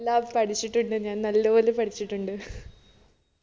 എല്ലാ പഠിച്ചിട്ടുണ്ട് ഞാൻ നല്ല പോലെ പഠിച്ചിട്ടുണ്ട്